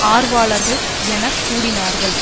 ஆர்வலர்கள் என கூடினார்கள்